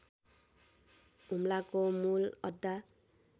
हुम्लाको मूल अड्डा